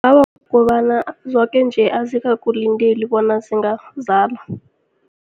Awa, kukobana zoke nje azikakulindeli bona zingazala.